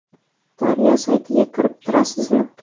Daryo saytiga kirib turasizmi?